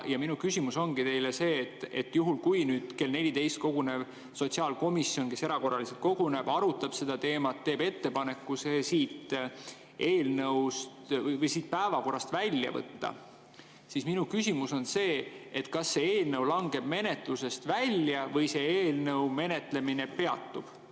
Minu küsimus ongi see: juhul, kui kell 14 kogunev sotsiaalkomisjon, kes erakorraliselt koguneb, arutab seda teemat, teeb ettepaneku see päevakorrast välja võtta, siis kas see eelnõu langeb menetlusest välja või selle eelnõu menetlemine peatub?